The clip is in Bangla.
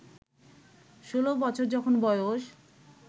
ষোলো বছর যখন বয়স